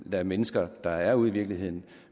lade mennesker der er ude i virkeligheden